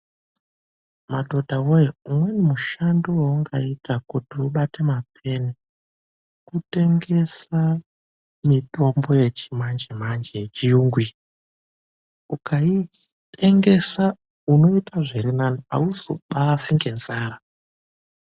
Madhodha woye, umweni mushando waungaita kuti ubate mapeni, kutengesa mitombo yechimanjemanje yechiyungu iyi. Ukaitengesa unoita zviri nani awuzobaafi ngenzara.